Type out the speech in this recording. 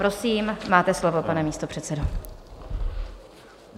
Prosím, máte slovo, pane místopředsedo.